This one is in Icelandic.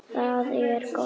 Þar er gott að koma.